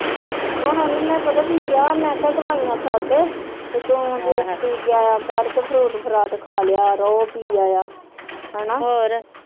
ਹੁਣ ਉਹਨਾਂ ਨੇ ਪਤਾ ਕੀ ਕਹਿਆ ਮੈ ਕਹਿਆ ਦਵਾਈਆਂ ਛੱਡ ਤੇ ਤੂੰ ਜੂਸ ਪੀ ਕੇ ਆਇਆ ਕਰ ਤੇ ਫਰੂਟ ਫਰਾਟ ਖਾਲਿਆ, ਰੋ ਪੀ ਆਇਆ ਹੇਨਾ